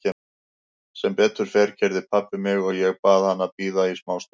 Sem betur fer keyrði pabbi mig og ég bað hann að bíða í smá stund.